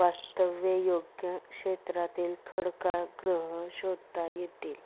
वास्तव्ययोग्य क्षेत्रातील खडकाळ ग्रह शोधता येतील.